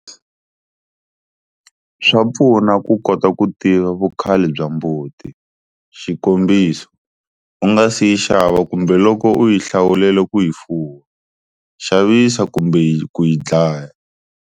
Swa pfuna ku kota ku tiva vukhale bya mbuti, xikombiso, u nga si yi xava kumbe loko u yi hlawulela ku yi fuwa, xavisa kumbe ku yi dlaya.